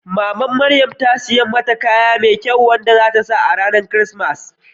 Mamar Maryan ta saya mata sabon kaya mai kyau wanda za ta sa a ranar Kirsimeti.